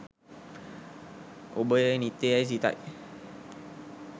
ඔබ එය නිත්‍ය යැයි සිතයි.